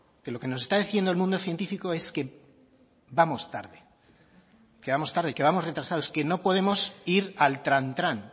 que lo que nos está diciendo el mundo científico es que vamos tarde que vamos tarde que vamos retrasados que no podemos ir al trantrán